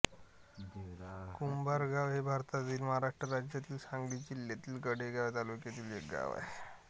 कुंभारगाव हे भारतातील महाराष्ट्र राज्यातील सांगली जिल्ह्यातील कडेगांव तालुक्यातील एक गाव आहे